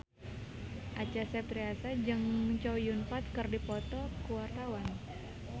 Acha Septriasa jeung Chow Yun Fat keur dipoto ku wartawan